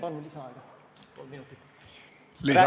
Palun lisaaega kolm minutit!